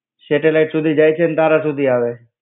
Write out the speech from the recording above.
Satellite સુધી જાય છે ને તારા સુધી અવે છે.